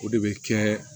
O de bɛ kɛ